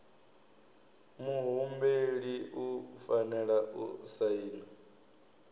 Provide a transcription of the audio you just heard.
muhumbeli u fanela u saina